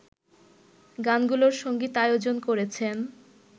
গানগুলোর সংগীতায়োজন করেছেন